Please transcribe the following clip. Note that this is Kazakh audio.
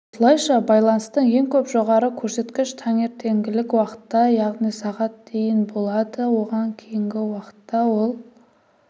осылайша байланыстың ең көп жоғары көрсеткіш таңертеңгілік уақытта яғни сағат дейін болады одан кейінгі уақытта ол